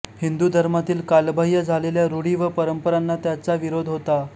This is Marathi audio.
हिंदू धर्मातील कालबाह्य झालेल्या रूढी व परंपराना त्याचा विरोध होता